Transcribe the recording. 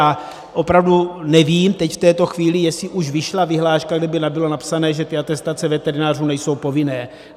A opravdu nevím teď v této chvíli, jestli už vyšla vyhláška, kde by bylo napsané, že atestace veterinářů nejsou povinné.